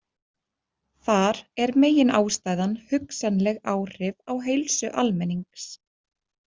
Þar er meginástæðan hugsanleg áhrif á heilsu almennings.